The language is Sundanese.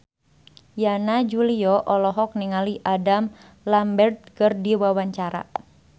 Yana Julio olohok ningali Adam Lambert keur diwawancara